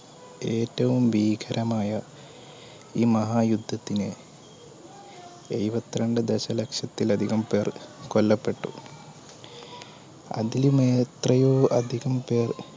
ഏറ്റവും ഭീകരമായ ഈ മഹായുദ്ധത്തിനെഎഴുപത്തിരണ്ട്‍ ദശലക്ഷത്തിലധികം പേർ കൊല്ലപ്പെട്ടു അതിലും എത്രയോ അധികംപേർ